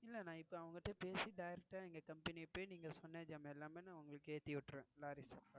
இல்லை நான் இப்போ அவங்க கிட்ட பேசி Direct ஆஹ் எங்க Company போய் நீங்க சொன்ன ஜமானாம் எல்லாமே நான் உங்களுக்கு ஏத்தி விட்டுருவேன் Lorry Staff ஆஹ்.